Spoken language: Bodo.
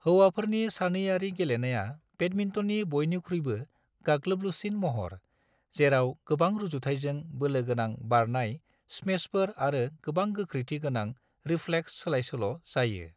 हौवाफोरनि सानैआरि गेलेनाया बेडमिन्टननि बयनिख्रुयबो गाग्लोबलुसिन महर, जेराव गोबां रुजुथायजों बोलोगोनां बारनाय स्मेशफोर आरो गोबां गोख्रैथि गोनां रिफ्लेक्स सोलायसोल' जायो।